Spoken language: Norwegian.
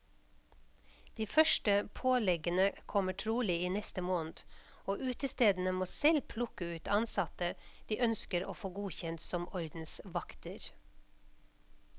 De første påleggene kommer trolig i neste måned, og utestedene må selv plukke ut ansatte de ønsker å få godkjent som ordensvakter.